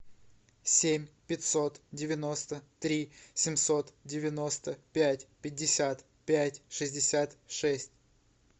семь пятьсот девяносто три семьсот девяносто пять пятьдесят пять шестьдесят шесть